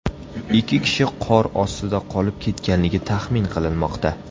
Ikki kishi qor ostida qolib ketganligi taxmin qilinmoqda.